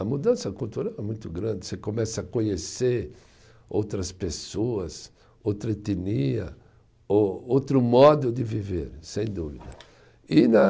A mudança cultural é muito grande, você começa a conhecer outras pessoas, outra etnia, ô outro modo de viver, sem dúvida. E na